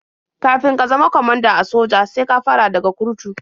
Kafin ka zama kwamanda a soja sai ka fara daga kurtu.